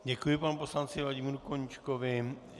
Děkuji panu poslanci Vladimíru Koníčkovi.